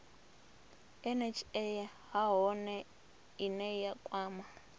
nha nahone ine ya kwama